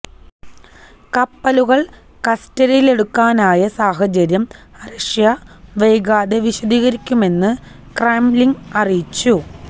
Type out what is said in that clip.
കപ്പലുകള് കസ്റ്റഡിയിലെടുക്കാനായ സാഹചര്യം റഷ്യ വൈകാതെ വിശദീകരിക്കുമെന്നു ക്രെംലിന് അറിയിച്ചു